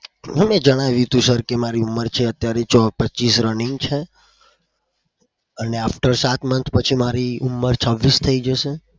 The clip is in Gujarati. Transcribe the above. મેં જણાવ્યું તુ sir કે મારી ઉમર છે અત્યારે પચીસ running છે અને after સાત month પછી મારી ઉમર છવ્વીસ થઇ જશે.